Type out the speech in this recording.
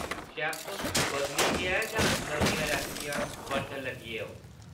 शैफ् बदली गेआ ऐ जां नमियां रैसिपी बर्तन लगे ओ?’’